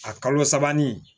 A kalo sabanani